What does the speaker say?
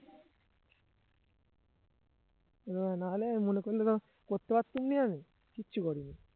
এরকম না হলে মনে করলে তো করতে পারতাম না আমি কিচ্ছু করিনি